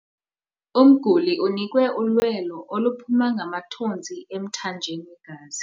Umguli unikwe ulwelo oluphuma ngamathontsi emthanjeni wegazi.